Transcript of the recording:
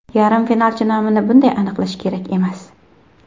Yarim finalchi nomini bunday aniqlash kerak emas.